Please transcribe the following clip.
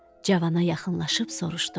Cana yaxınlaşıb soruşdu.